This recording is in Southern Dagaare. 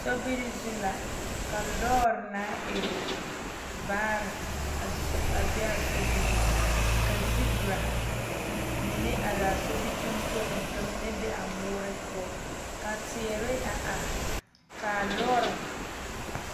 Sobiri zu la ka lɔɔre naŋ e vaare a a be a sobiriŋ ka zibira mine are a sobitontoliŋ ka mine be a moore poɔ ka teere a are ka lɔɔre.